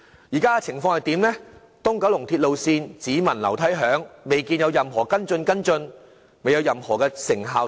但是，現時東九龍鐵路線項目"只聞樓梯響"，未見有任何跟進，尚未能看到任何成效。